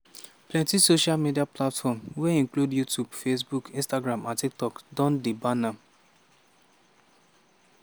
plenti social media platforms wey include youtube facebook instagram and tiktok don ban am.